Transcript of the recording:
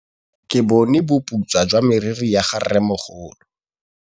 Ke bone boputswa jwa meriri ya rrêmogolo.